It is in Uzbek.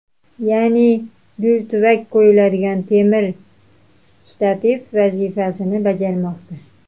Ya’ni, gul tuvak qo‘yadigan temir shtativ vazifasini bajarmoqda.